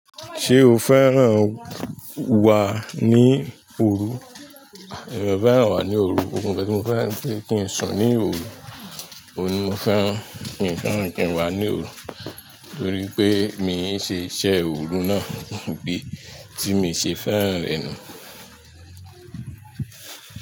Ṣé o fẹ́ràn wà ní òru? Ẹ̀rọ fẹ́ràn wà ní òru. Ohun kan tí mo fẹ́ kí ń sùn ní òru, òun ni mo fẹ́ràn. Kì í fẹ́ràn kí n wà ní òru, torí pé mi ń ṣe iṣẹ́ òru náà, idi tí mi ṣe fẹ́ràn rẹ̀ nù.